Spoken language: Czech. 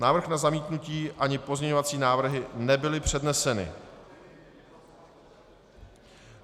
Návrh na zamítnutí ani pozměňovací návrhy nebyly předneseny.